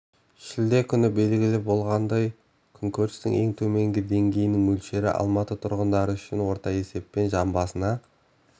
шілде күні белгілі болғандай күнкөрістің ең төменгі деңгейінің мөлшері алматы тұрғындары үшін орта есеппен жан басына